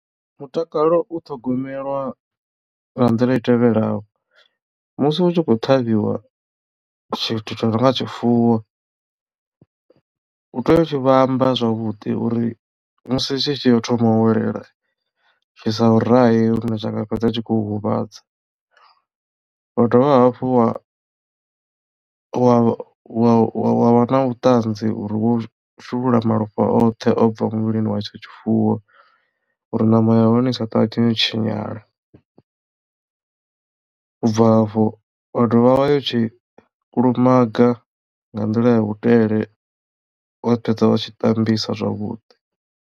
Mutakalo u ṱhogomelwa nga nḓila i tevhelaho musi hu tshi khou ṱhavhiwa tshithu tsho no nga tshifuwo u tea u tshi vhamba zwavhuḓi uri musi tshi tshi ya u thoma welela tshi sa u rahe lune zwa nga fhedza u tshi kho huvhadza. Wa dovha hafhu wa wa wa wa na vhuṱanzi uri wo shulula malofha oṱhe o bva muvhilini wa hetsho tshifuwo uri ṋama ya hone i sa ṱavhanye u tshinyala ubva hafho wa dovha wa tshi kulumaga nga nḓila ya vhudele wa fhedza wa tshi tambisa zwavhuḓi.